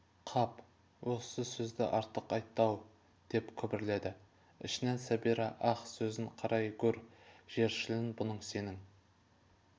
қап осы сөзді артық айтты-ау деп күбірледі ішінен сәбира ах сөзін қарай гөр жершілін бұның сенің